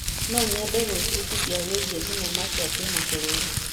No nyende gwĩbundithia wĩgiĩ thenema cia kĩmabũrũri.